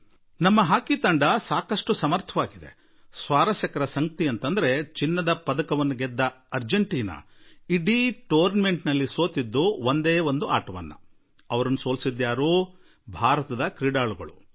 ನಮ್ಮ ತಂಡ ಸಾಕಷ್ಟು ಸಶಕ್ತವಾಗಿದೆ ಹಾಗೂ ಮೋಜಿನ ಸಂಗತಿಯೆಂದರೆ ಚಿನ್ನದ ಪದಕ ಗೆದ್ದ ಅಂರ್ಜೆಂಟಿನಾ ತಂಡ ಇಡೀ ಟೂರ್ನಮೆಂಟ್ ನಲ್ಲಿ ಒಂದೇ ಒಂದು ಪಂದ್ಯದಲ್ಲಿ ಸೋಲನ್ನು ಅನುಭವಿಸಿತು ಮತ್ತು ಆ ಪರಾಭವ ಉಂಟು ಮಾಡಿದವರು ಯಾರು ಭಾರತೀಯ ಆಟಗಾರರು